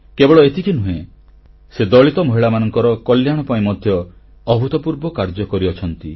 କେବଳ ଏତିକି ନୁହେଁ ସେ ଦଳିତ ମହିଳାମାନଙ୍କ କଲ୍ୟାଣ ପାଇଁ ମଧ୍ୟ ଅଦ୍ଭୁତପୂର୍ବ କାର୍ଯ୍ୟ କରିଛନ୍ତି